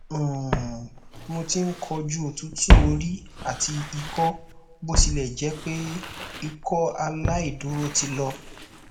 um mo ti n koju otutu ori ati ikọ botilẹjẹpe ikọaláìdúró ti lọ